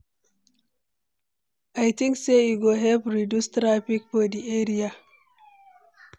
I think say e go help reduce traffic for di area.